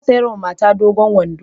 Ya saya mata dogon wando.